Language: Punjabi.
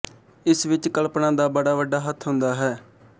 ਇਸ ਵਿੱਚ ਕਲਪਨਾ ਦਾ ਬੜਾ ਵੱਡਾ ਹੱਥ ਹੁੰਦਾ ਹੈ